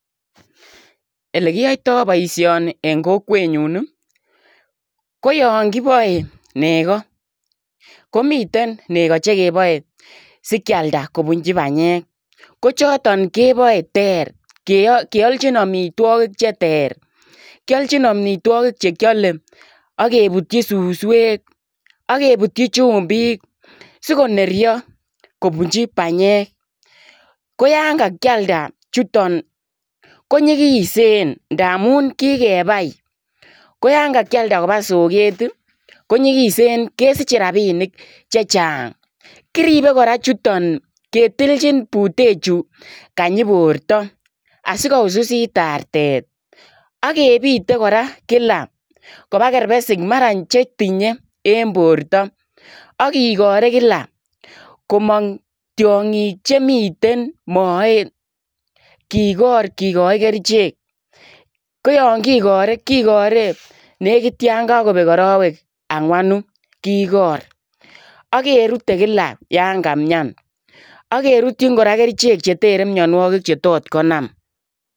Ele kiyaitaa boisioni en kokwet nyuun ii koyaan kibae negaah komiteen negaa che kebale sikeyaldaa kobunjii panyeek ko chotoon kebae ter keyalchiin amitwagiik che teer kiyaljiin amitwagiik che kyale akebutyii susweek agebutyii chumbiik sigoneryaa kobunjii panyeek koyaan ka kiyaldai chutoon ko nyigiseen ndamuun kikebai koyaan ka kiyaldai kobaa sokeet ii konyigiseen kesichei rapiniik che chaang kiripe kora chutoon ketiljiin buteek chutoon kanyii bortoo asi ko usisiit artet agebite kora kila kobaa kerbesiik mara che tinyei en borto agigarei kila komaang tiangiik che miten moet kigoor kigaai kercheek koyaan kigare nekiit yaan kakobeek aroweek angwanuu agerutee kila yaan kamiani agerutyiin kora kercheek che terei mianwagik che tot konam.